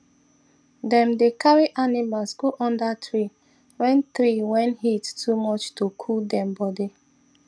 dem dey carry animals go under tree when tree when heat too much to cool dem body